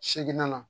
Seginna na